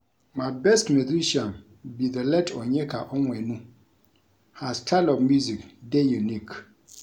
My best musician be the late Onyeka Onwenu. Her style of music dey unique.